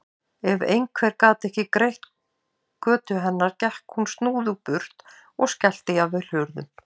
Ef einhver gat ekki greitt götu hennar gekk hún snúðugt burt og skellti jafnvel hurðum.